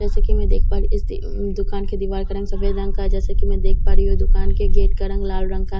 जैसा कि मैं देख पा रही हूं इस द अअ दुकान दिवार के वॉल का रंग सफेद जैसा कि मैं देख पा रही हूं इस दुकान के गेट का रंग लाल रंग का --